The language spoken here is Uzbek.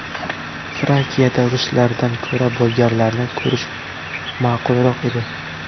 Frakiyada ruslardan ko‘ra bolgarlarni ko‘rish ma’qulroq edi.